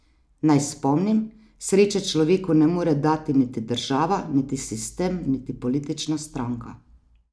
Naj spomnim: "Sreče človeku ne more dati niti država niti sistem niti politična stranka.